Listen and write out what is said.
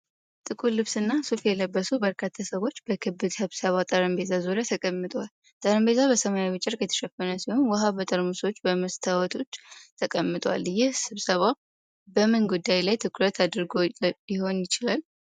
ጥቁር ልብስና ሱፍ የለበሱ በርካታ ሰዎች በክብ ስብሰባ ጠረጴዛ ዙሪያ ተቀምጠዋል። ጠረጴዛው በሰማያዊ ጨርቅ የተሸፈነ ሲሆን፣ ውሃ በጠርሙሶችና በመስታወቶች ተቀምጧል። ይህ ስብሰባ በምን ጉዳይ ላይ ትኩረት አድርጎ ሊሆን ይችላል?